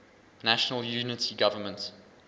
national unity government